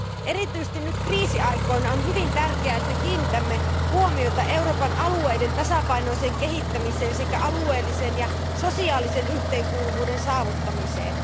Erityisesti nyt kriisiaikoina on hyvin tärkeää, että kiinnitämme huomiota Euroopan alueiden tasapainoiseen kehittämiseen sekä alueellisen ja sosiaalisen yhteenkuuluvuuden saavuttamiseen.